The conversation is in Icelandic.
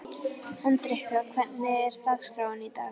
Hendrikka, hvernig er dagskráin í dag?